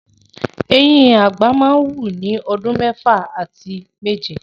Eyín àgbà máa wù ni bíi ọdún mẹ́fà àti méje.